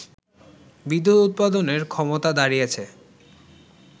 বিদ্যুৎ উৎপাদনের ক্ষমতা দাড়িয়েছে